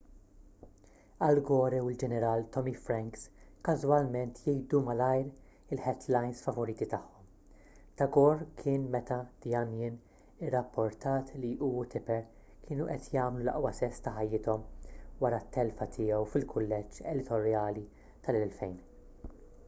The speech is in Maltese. al gore u l-ġeneral tommy franks każwalment jgħidu malajr il-headlines favoriti tagħhom ta' gore kien meta the onion irrapportat li hu u tipper kienu qed jagħmlu l-aqwa sess ta' ħajjithom wara t-telfa tiegħu fil-kulleġġ elettorali tal-2000